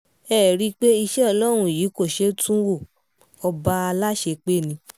ẹ ẹ̀ rí i pé iṣẹ́ ọlọ́run yìí kò ṣeé tú wo ọba aláṣepé ni